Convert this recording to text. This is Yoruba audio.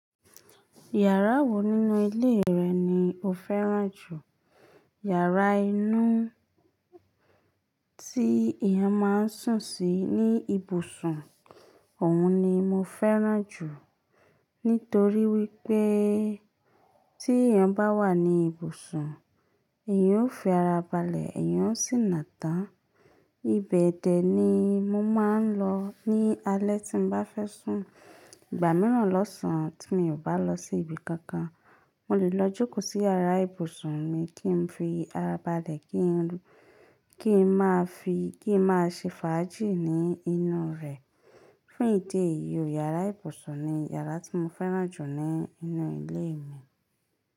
Yàrá wo nínú ilé rẹ̀ ni o fẹ́ràn jù? Yàrá inú tí èèyàn máa ń sùn sí ní ibùsùn, òun ni mo fẹ́ràn jù. Nítorí wípé tí èèyàn bá wà ní ibùsùn, èèyàn ó fi ara balẹ̀, èèyàn ó sì nà tán. Ibẹ̀ dẹ̀ ni mo máa ń lọ ní alẹ́ tí mo bá fẹ́ sùn. Ìgbà mìíràn lọ́sàn-án tí mi ò bá lọ sí ibi kankan, mo lè lọ jókòó sí yàrá ibùsùn mi kí n fi ara balẹ̀, kí n máa fi, kí n máa ṣe fàájì ní inú rẹ̀. Fún ìdí èyí, yàrá ibùsùn ni yàrá tí mo fẹ́ràn jù nínú ilé mi.